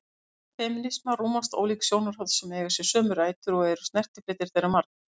Innan femínisma rúmast ólík sjónarhorn sem eiga sér sömu rætur og eru snertifletir þeirra margir.